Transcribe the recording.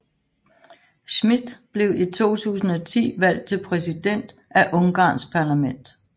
Schmitt blev i 2010 valgt til præsident af Ungarns parlament